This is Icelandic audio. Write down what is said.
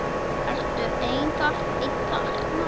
Ertu einn þarna úti?